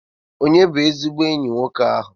Ònye bụ ezigbo enyi nwoke ahụ?